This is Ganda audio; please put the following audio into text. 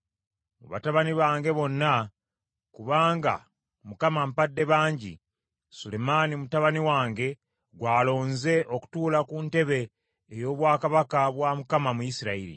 Mu batabani bange bonna, kubanga Mukama ampadde bangi, Sulemaani mutabani wange gw’alonze okutuula ku ntebe ey’obwakabaka bwa Mukama mu Isirayiri.